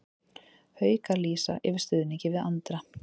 Haukar lýsa yfir stuðningi við Andra